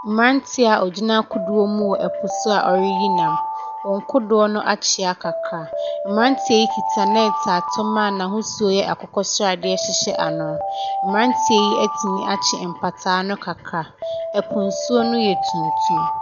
Mmeranteɛ a wɔgyina kodoɔ mu wɔ po so a wɔreyi nam, wɔn kodoɔ no akyea kakra. Mmeranteɛ yi kita net a tɔma n’ahosuo yɛ akokɔsradeɛ hyehyɛ ano. Mmeranteɛ yi atumi akye mpataa no kakra, po nsuo no yɛ tuntum.